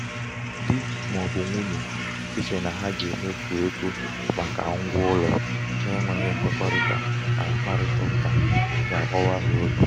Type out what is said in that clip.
di ma um ọ bụ nwunye íchè na ha um ga-emefu ego màkà ngwa ụlọ n'enweghị nkwekọrịta na mkparịtaụka ga-agbawa ha obi.